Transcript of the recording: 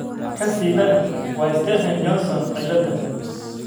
Ka sii daran waa Stevens Johnson ciladha